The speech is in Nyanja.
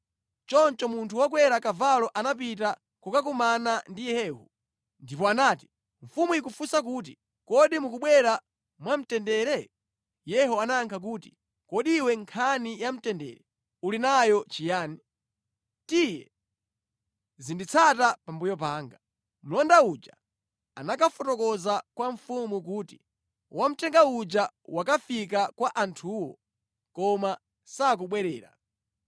Choncho munthu wokwera kavalo anapita kukakumana ndi Yehu ndipo anati, “Mfumu ikufunsa kuti, ‘Kodi mukubwera mwamtendere?’ ” Yehu anayankha kuti, “Kodi iwe nkhani ya mtendere yakukhudza bwanji? Tiye, zinditsata pambuyo panga.” Mlonda uja anakafotokoza kwa mfumu kuti, “Wamthenga uja wakafika kwa anthuwo koma sakubwerera.”